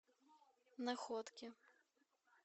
находке